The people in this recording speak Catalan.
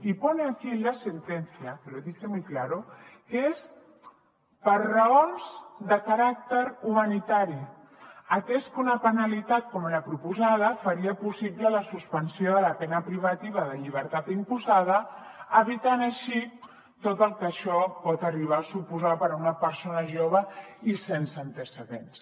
y pone aquí en la sentencia que lo dice muy claro que es per raons de caràcter humanitari atès que una penalitat com la proposada faria possible la suspensió de la pena privativa de llibertat imposada evitant així tot el que això pot arribar a suposar per a una persona jove i sense antecedents